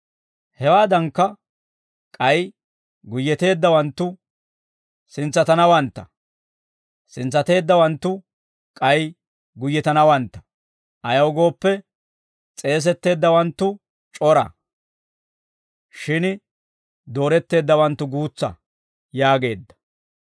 «Hewaadankka, k'ay guyyeteeddawanttu sintsatanawantta; sintsateeddawanttu k'ay guyyetanawantta; ayaw gooppe, s'eesetteeddawanttu c'ora; shin dooretteeddawanttu guutsa» yaageedda.